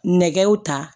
Nɛgɛw ta